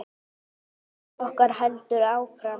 Sókn okkar heldur áfram.